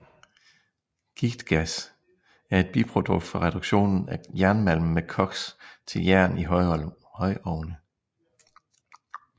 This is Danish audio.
Giktgas er et biprodukt fra reduktionen af jernmalm med koks til jern i højovne